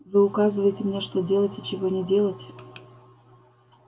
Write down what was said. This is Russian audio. вы указываете мне что делать и чего не делать